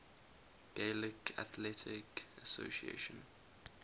gaelic athletic association